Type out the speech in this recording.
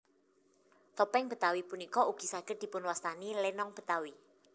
Topéng Betawi punika ugi saged dipunwastani lénong Betawi